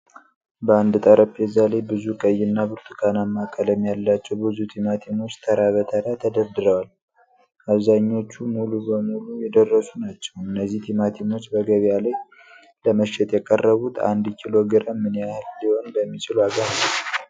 በአንድ ጠረጴዛ ላይ ብዙ ቀይ እና ብርቱካናማ ቀለም ያላቸው ብዙ ቲማቲሞች ተራ በተራ ተደርድረዋል፤ አብዛኞቹ ሙሉ በሙሉ የደረሱ ናቸው፤ እነዚህ ቲማቲሞች በገበያ ላይ ለመሸጥ የቀረቡት በአንድ ኪሎ ግራም ምን ያህል ሊሆን በሚችል ዋጋ ነው?